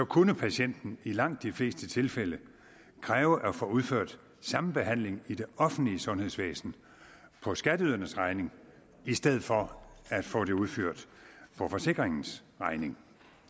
kunne patienten i langt de fleste tilfælde kræve at få udført samme behandling i det offentlige sundhedsvæsen på skatteydernes regning i stedet for at få det udført på forsikringens regning